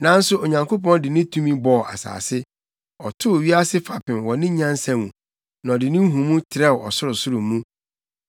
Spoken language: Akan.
Nanso Onyankopɔn de ne tumi bɔɔ asase; ɔtoo wiase fapem wɔ ne nyansa mu, na ɔde ne nhumu trɛw ɔsorosoro mu.